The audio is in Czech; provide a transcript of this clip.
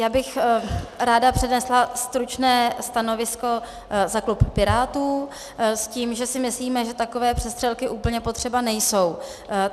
Já bych ráda přednesla stručné stanovisko za klub Pirátů s tím, že si myslíme, že takové přestřelky úplně potřeba nejsou.